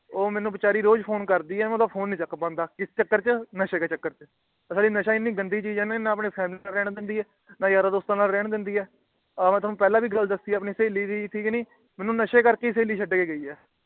ਔ ਬੀਚਾਰੀ ਮੇਨੂ ਰੋਜ ਫੋਨ ਕਰਦੀ ਹੈ ਮਈ ਆਉਂਦਾ ਫੋਨ ਨੀ ਚਾਕ ਪਾਉਂਦਾ ਕਿਸ ਚੱਕਰ ਚੇ ਨਸ਼ੇ ਦੇ ਚੱਕਰ ਚੇ ਆ ਨਸ਼ਾ ਸਾਲੀ ਇੰਨੀ ਗੰਦੀ ਚੀਜ਼ ਹੈਂ ਨਾ ਨਾ ਆਪਣੀ ਨਾਲ ਰਹਿਣ ਦਿੰਦੀ ਹੈ ਨਾ ਆਪਣੇ ਯਾਰਾ ਦੋਸਤਾਂ ਨਾਲ ਰਹਿਣ ਦਿੰਦੀ ਹੈ ਆ ਮਈ ਤੁਹਨੂੰ ਪਹਿਲਾ ਵੀ ਗੱਲ ਦੱਸੀ ਹੈ ਆਪਣੀ ਸਹੇਲੀ ਦੀ ਦੱਸੀ ਸੀ ਕੇ ਨੀ ਮੇਨੂ ਨਸ਼ੇ ਕਰਕੇ ਸਹੇਲੀ ਛੱਡ ਕੇ ਗਈ ਹੈ